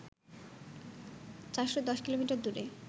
৪১০ kilometre দূরে